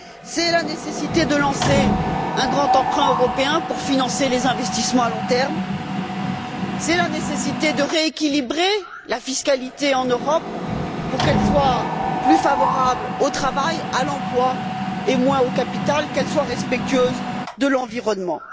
C'est la nécessité de lancer un grand emprunt européen pour financer les investissements à long terme. C'est la nécessité de rééquilibrer la fiscalité en Europe pour qu'elle soit plus favorable au travail, à l'emploi, et moins au capital, qu'elle soit respectueuse de l'environnement.